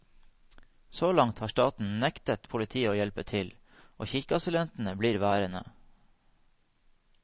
Så langt har staten nektet politiet å hjelpe til, og kirkeasylantene blir værende.